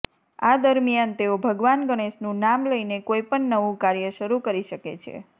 આ દરમિયાન તેઓ ભગવાન ગણેશનું નામ લઈને કોઈપણ નવું કાર્ય શરૂ કરી શકે છે